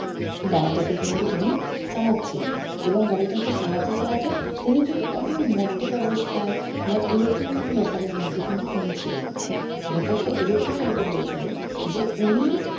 গাড়িটাকে কিন্তু তিনি চালাচ্ছিলেন এবং গাড়িটাকে চালাতে চালাতে তিনি কিন্তু কখনো মদ্যপ অবস্থায় বা এরকম কোনো ব্যাপারের মধ্যে কিন্তু তিনি ছিলেন না ব্যাপারটা এরকম type এর হয়েছিল যে উনি